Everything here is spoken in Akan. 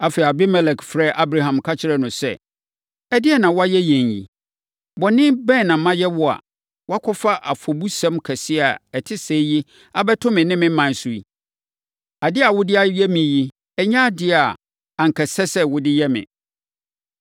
Afei, Abimelek frɛɛ Abraham ka kyerɛɛ no sɛ, “Ɛdeɛn na woayɛ yɛn yi? Bɔne bɛn na mayɛ wo a woakɔfa afɔbusɛm kɛseɛ a ɛte sɛɛ yi abɛto me ne me ɔman so yi? Adeɛ a wode ayɛ me yi nyɛ adeɛ a anka ɛsɛ sɛ wode yɛ me.”